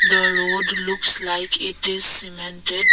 the road looks like it is cemented.